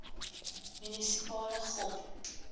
munisipale gop